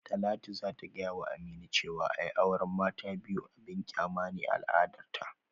Talatu za ta gayawa Aminu cewa ai auran mata ta biyu abin kyama ne a al'adarta